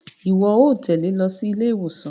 Iwọ óò tẹle ló sí ilé-ìwòsàn